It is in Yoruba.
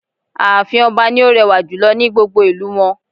Ààfin ọba ni ó rẹwà jùlọ ní gbogbo ìlú wọn